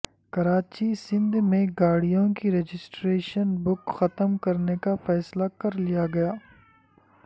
کراچی سندھ میں گاڑیوں کی رجسٹریشن بک ختم کرنے کا فیصلہ کرلیا گیا